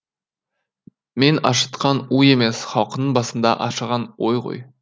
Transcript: мен ашытқан у емес халқыңның басында ашыған ой ғой